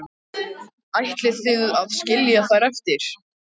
Ætlið þið að skilja þær eftir?